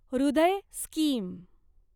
हृदय स्कीम